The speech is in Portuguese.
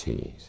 Sim, sim.